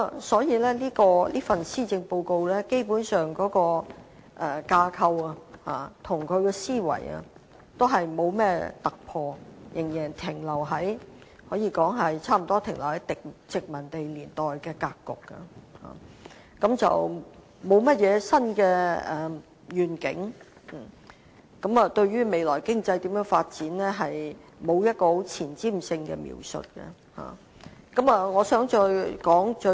所以，這份預算案的架構和思維，基本上也是沒有突破，更可以說是仍然停留在殖民地年代格局，沒有甚麼新願景，對於未來經濟發展也沒有前瞻性的描述。